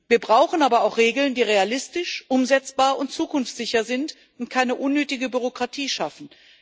Wir brauchen aber auch Regeln, die realistisch, umsetzbar und zukunftssicher sind und keine unnötige Bürokratie schaffen.